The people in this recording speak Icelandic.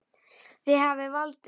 Þið hafið valdið.